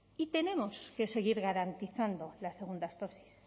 y tenemos que seguir garantizando las segundas dosis